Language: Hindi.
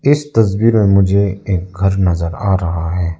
इस तस्वीर में मुझे एक घर नजर आ रहा है।